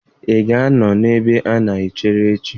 Ị ga-anọ na ebe a na-echere echi?